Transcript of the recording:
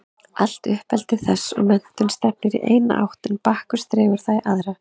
Allt uppeldi þess og menntun stefnir í eina átt en Bakkus dregur það í aðra.